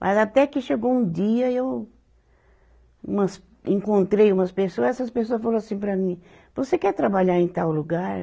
Mas até que chegou um dia e eu umas, encontrei umas pessoa, essas pessoa falou assim para mim, você quer trabalhar em tal lugar?